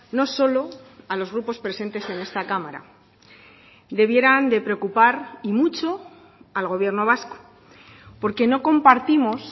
no solo a los grupos presentes en esta cámara debieran de preocupar y mucho al gobierno vasco porque no compartimos